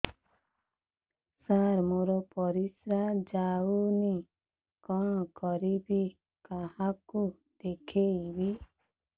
ସାର ମୋର ପରିସ୍ରା ଯାଉନି କଣ କରିବି କାହାକୁ ଦେଖେଇବି